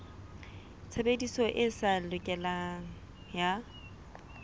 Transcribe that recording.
tshebediso e sa lokang ya